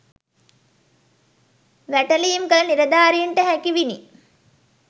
වැටලීම් කළ නිලධාරීන්ට හැකිවිනි